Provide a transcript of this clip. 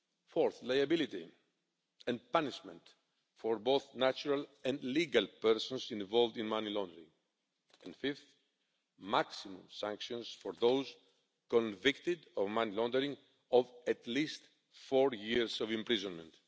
Fourth, liability and punishment for both natural and legal persons involved in money laundering, and fifth, maximum sanctions for those convicted of money laundering of at least four years imprisonment.